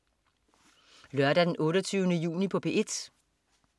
Lørdag den 28. juni - P1: